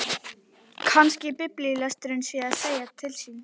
Kannski biblíulesturinn sé að segja til sín.